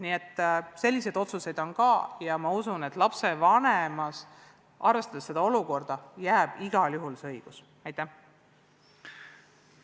Nii et ka selliseid otsuseid on, ja ma usun, et lapsevanemale, arvestades praegust olukorda, jääb igal juhul õigus teha lõplik otsus.